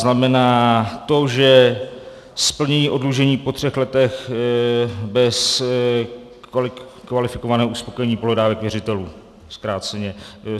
Znamená to, že splnění oddlužení po třech letech bez kvalifikovaného uspokojení pohledávek věřitelů, zkráceně.